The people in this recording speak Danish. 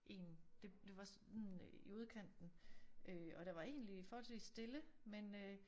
I en det det var sådan i udkanten øh og der var egentlig forholdsvist stille men øh